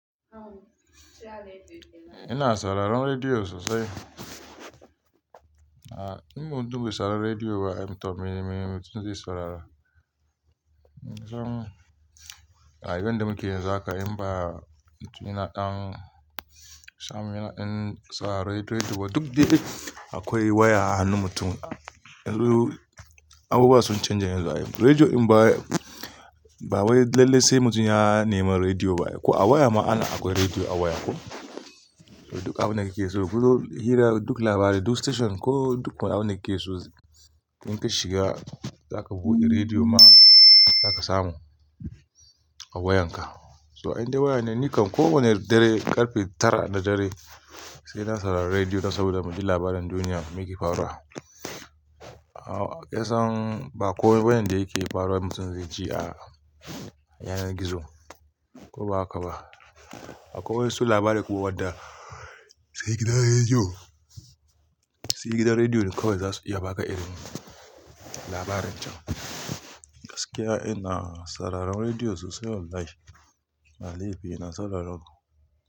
Ina sauraron rediyo sosai. Ah, in mutum bai saurari rediyo ba, amma to, mene mutum zai saurara? Dan, a rayuwar da muke yanzu haka, in ba, mutum yana ɗan, sam, yana ɗan sa redi-- rediyo, duk dai akwai waya a hannun mutum, Abubuwa sun canja yanzu ai, Rediyo in ba, ba wai lallai sai mutum ya nemi rediyo ba. Ko a waya ma ana, akwai rediyo a waya ko. Duk abunda kake so gurun, hira, duk labarai, duk station, ko duk abunda kike so in ka shiga, za ka buɗe rediyo ma, za ka samu a wayanka. So in dai waya ne nikan ko wane dare, ƙarfe tara na dare, sai na saurari rediyo saboda mu ji labaran duniya, me yake faruwa? Ah, kinsan ba komai bane da yake faruwa mutum zai ce a'a, yanar gizo, ko ba hakaba. Akwai wasu labarai kuma wadda sai gidan rediyo, sai gidan rediyo ne kawai zasu iya baka irin labarin can. Gaskiya ina sauraron rediyo sosai wallahi. Ba laifi ina saurarawa.